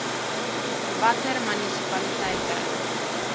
watter munisipaliteite ii